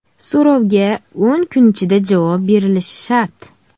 So‘rovga o‘n kun ichida javob berilishi shart.